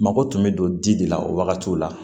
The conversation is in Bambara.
Mako tun bɛ don di de la o wagatiw la